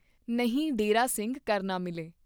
ਨਹਿਂ ਡੇਰੇ ਸਿੰਘ ਕਰਨਾ ਮਿਲੇ।